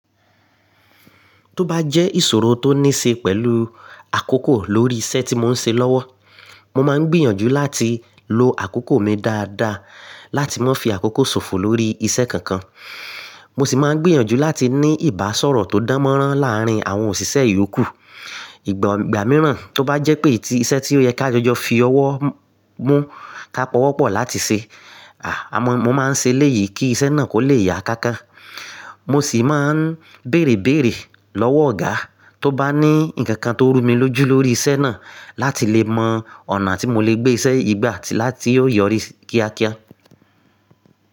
Tó bá jẹ́ ìṣòro tó ní ṣe pẹ̀lú àkókò lórí iṣẹ́ tí mò ń ṣe lọ́wọ́, mo máa ń gbìyànjú láti lo àkókò mi dáadáa láti má fi àkókò sòfò lórí iṣẹ́ kankan. Mo sì máa ń gbìyànjú láti ní ìbáṣọ̀rọ̀ tó dánmọ́nrán láàárín àwọn òṣìṣẹ́ ìyókù. Ìgbà mìíràn tó bá jẹ́ pé tí iṣẹ́ tí ó yẹ ká jọjọ fi ọwọ́ mú ká pọ̀wọ́pọ̀ láti ṣe, à mo máa ń ṣe léyìí kí iṣẹ́ náà kò lè ya kankan. Mo sì máa ń bèrèbéèrè lọ́wọ́ ọ̀gá tó bá ní nǹkan tó rú mi lójú lórí iṣẹ́ náà láti lè mọ ọ̀nà tí mo lè gbé iṣẹ́ yìí gbà láti yọrí kíákíá.